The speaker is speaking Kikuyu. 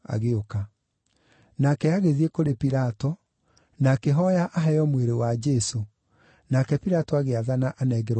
Nake agĩthiĩ kũrĩ Pilato, na akĩhooya aheo mwĩrĩ wa Jesũ, nake Pilato agĩathana anengerwo mwĩrĩ ũcio.